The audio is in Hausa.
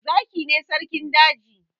Zaki ne sarkin daji